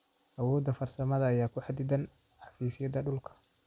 Awoodda farsamada ayaa ku xaddidan xafiisyada dhulka.